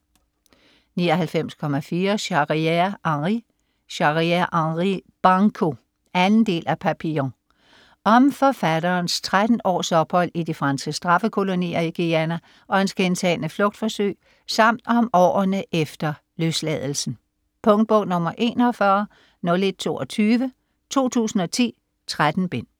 99.4 Charrière, Henri Charrière, Henri: Banco 2. del af Papillon. Om forfatterens 13 års ophold i de franske straffekolonier i Guayana og hans gentagne flugtforsøg samt om årene efter løsladelsen. Punktbog 410122 2010. 13 bind.